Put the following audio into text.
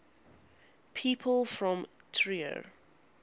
people from trier